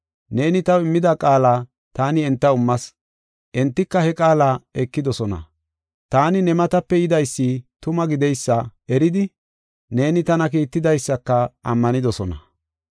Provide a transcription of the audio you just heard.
Neeni taw immida qaala taani entaw immas; entika he qaala ekidosona. Taani ne matape yidaysi tuma gideysa eridi neeni tana kiittidaysaka ammanidosona.